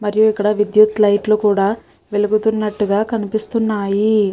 మరియు ఇక్కడ విద్యుత్ లైట్ లు కూడా వెలుగుతున్నటు గా కనిపిస్తున్నాయి.